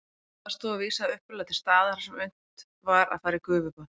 Baðstofa vísaði upphaflega til staðar þar sem unnt var að fara í gufubað.